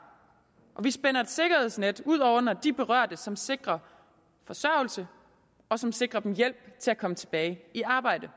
og vi spænder et sikkerhedsnet ud under de berørte som sikrer forsørgelse og som sikrer dem hjælp til at komme tilbage i arbejde